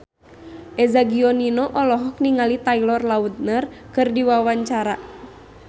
Eza Gionino olohok ningali Taylor Lautner keur diwawancara